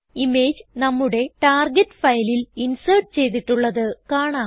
image നമ്മുടെ target ഫയലിൽ insert ചെയ്തിട്ടുള്ളത് കാണാം